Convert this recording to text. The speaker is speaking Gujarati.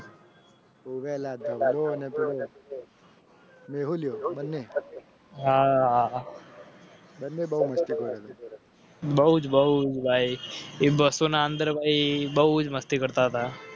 હાબહુ જ બહુગાય એ બસોના અંદર ભાઈ બહુ જ મસ્તી કરતા હતા